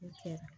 U kɛ